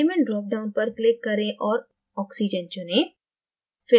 element drop down पर click करें और oxygen चुनें